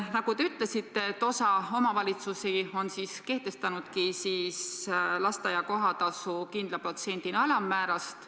Nagu te ütlesite, osa omavalitsusi on kehtestanudki lasteaia kohatasu kindla protsendina palga alammäärast.